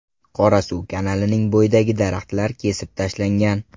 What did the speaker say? Qorasuv kanalining bo‘yidagi daraxtlar kesib tashlangan.